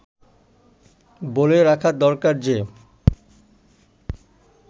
বলে রাখা দরকার যে